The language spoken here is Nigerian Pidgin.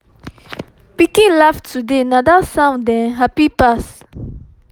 pikin laugh today na dat sound um happy pass